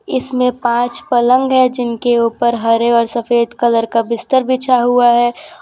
इसमें पांच पलंग है जिनके ऊपर हरे और सफेद कलर का बिस्तर बिछा हुआ है।